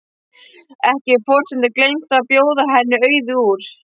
Ekki hefur forsetinn gleymt að bjóða henni Auði úr